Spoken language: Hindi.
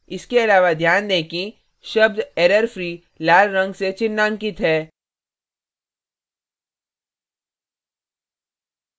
इसके अलावा ध्यान दें कि शब्द errorfree लाल रंग से चिन्हांकित है